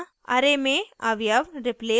* array में अवयव replace यानी बदलना